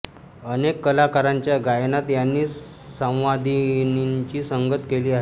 अनेक कलाकारांच्या गायनात यांनी संवादिनीची संगत केली आहे